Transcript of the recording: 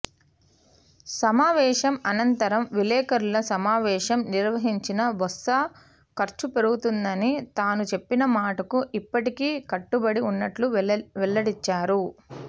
సమావేశం అనంతరం విలేకరుల సమావేశం నిర్వహించిన బొత్స ఖర్చు పెరుగుతుందని తానుచెప్పిన మాటకు ఇప్పటికీ కట్టుబడి ఉన్నట్లు వెల్లడించారు